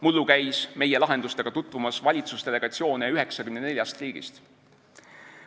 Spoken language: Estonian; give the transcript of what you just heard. Mullu käis meie lahendustega tutvumas valitsusdelegatsioone 94 riigist.